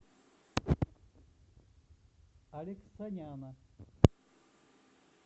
алексаняна